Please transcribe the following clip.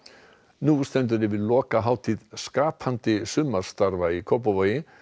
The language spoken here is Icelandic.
nú stendur yfir lokahátíð skapandi sumarstarfa í Kópavogi